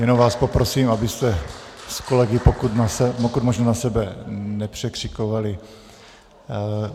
Jenom vás poprosím, abyste s kolegy pokud možno na sebe nepokřikovali.